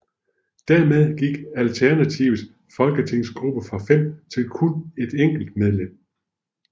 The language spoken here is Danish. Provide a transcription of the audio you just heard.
Dermed gik Alternativets folketingsgruppe fra fem til kun et enkelt medlem